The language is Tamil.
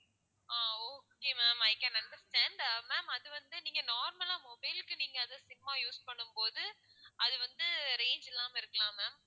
ah okay ma'am i can understand ah ma'am அது வந்து நீங்க normal ஆ mobile க்கு நீங்க அதை sim ஆ use பண்ணும் போது அது வந்து range இல்லாம இருக்கலாம் ma'am